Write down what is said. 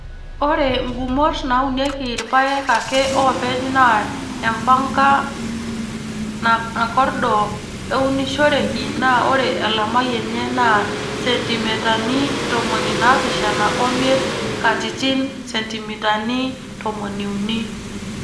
Ore ngumot naaunieki irpaek ake oopeny naa empanka nakordo eunishoreki naa ore elamai enye naa sentimitani ntomoni naapishana omiet katitin sentimitani tomoniuni.